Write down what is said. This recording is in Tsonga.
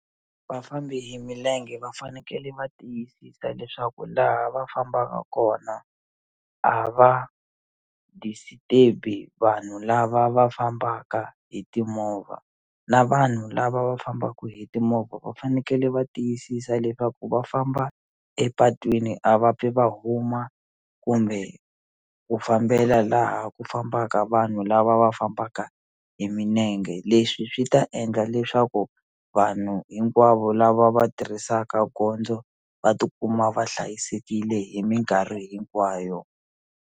Vafambi hi milenge va fanekele va tiyisisa leswaku laha va fambaka kona a va disturb-i vanhu lava va fambaka hi timovha na vanhu lava va fambaku hi timovha va fanekele va tiyisisa leswaku va famba epatwini a va pfi va huma kumbe ku fambela laha ku fambaka vanhu lava lava va fambaka hi minenge leswi swi ta endla leswaku vanhu hinkwavo lava va tirhisaka gondzo va tikuma va hlayisekile hi mikarhi hinkwayo.